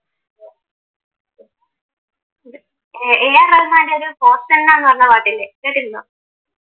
Uh A R റഹ്മാൻറെ ഒരു ഹോസന്നാന്ന് പറഞ്ഞ പാട്ടില്ലേ, കേട്ടിട്ടുണ്ടോ?